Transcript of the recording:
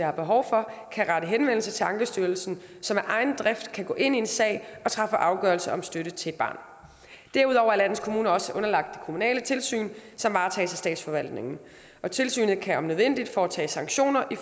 har behov for kan rette henvendelse til ankestyrelsen som af egen drift kan gå ind i en sag og træffe afgørelse om støtte til et barn derudover er landets kommuner også underlagt det kommunale tilsyn som varetages af statsforvaltningen tilsynet kan om nødvendigt foretage sanktioner i